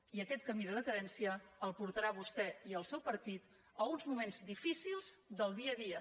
i aquest camí de decadència els portarà a vostè i al seu partit a uns moments difícils del dia a dia